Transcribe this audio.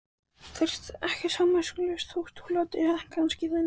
Þú ert ekki samviskulaus þótt þú látir kannski þannig.